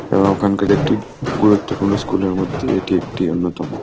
এবং ওখানকার একটি গুরুত্বপূর্ণ স্কুল এর মধ্যে এটি একটি অন্যতম।